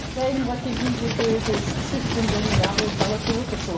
жайылымға келген кезде өзі шөптен жаңағы ақуызды алады деп отырсыз ғой